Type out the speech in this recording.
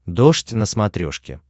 дождь на смотрешке